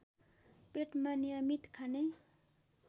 पेटमा नियमित खाने